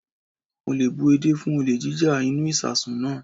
Mo le bú edé fún olè jíjá inú ìsasùn náà.